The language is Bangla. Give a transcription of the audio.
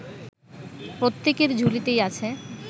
প্রত্যেকের ঝুলিতেই আছে